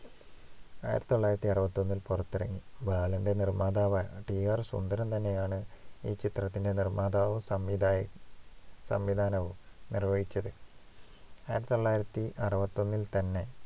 ആയിരത്തി തൊള്ളായിരത്തി അറുപത്തിയൊന്നില്‍ പുറത്തിറങ്ങി. ബാലന്‍റെ നിർമ്മാതാവയ ടി. ആർ. സുന്ദരം തന്നെയാണ് ഈ ചിത്രത്തിന്‍റെ നിർമ്മാതാവും സംവിയകവും സംവിധാനവും നിർവ്വഹിച്ചത്.